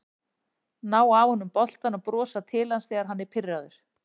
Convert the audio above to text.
Ná af honum boltann og brosa til hans þegar hann er pirraður